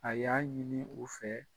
A y'a ɲini u fɛ.